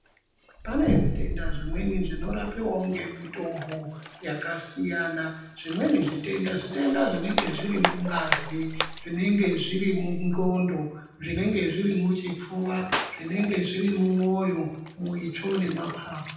Pane zvitenda zvimweni zvinorapiwa ngemitombo yakasiyana zvimweni zvitenda zvitenda zvinenge zviri mungazi zvinenge zviri mundxondo zvinenge zviri muchipfuva zvinenge zvirimwoyo muitsvo nemapapu .